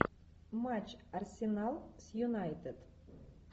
матч арсенал с юнайтед